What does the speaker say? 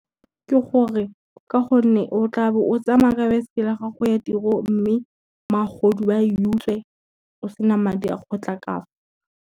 Ke gore ka gonne o tla be o tsamaya ka baesekele ya gago e turo, mme magodu a e utswe o sena madi a kgotla ka fa.